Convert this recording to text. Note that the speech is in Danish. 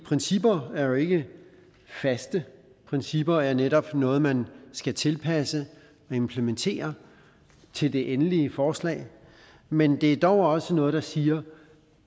principper er jo ikke faste principper er netop noget man skal tilpasse og implementere til det endelige forslag men det er dog også noget der siger